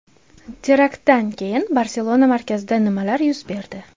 Teraktdan keyin Barselona markazida nimalar yuz berdi?